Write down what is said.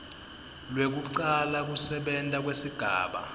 lwekucala kusebenta kwesigaba